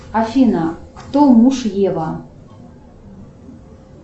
афина кто муж ева